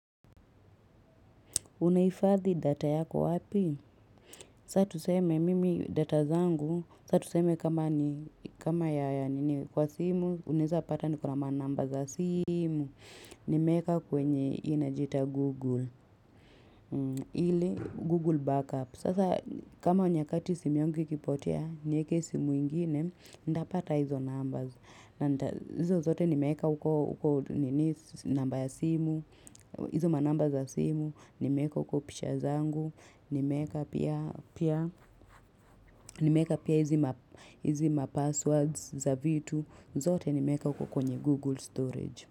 Unaifadhi data yako wapi? Sa tu seme mimi data zangu, sa tu seme kama ya kwa simu, unaeza pata niko na manamba za simu, nimeeka kwenye inajiita Google, ile Google backup. Sasa kama nyakati simu yangu ikipotea, nieke simu ingine, ndapata hizo numbers. Izo zote nimeweka huko nini namba ya simu. Izo manamba za simu. Nimeeka huko picha zangu. Nimeweka pia. Nimeweka pia hizi mapasswords za vitu. Zote nimeeka huko kwenye Google storage.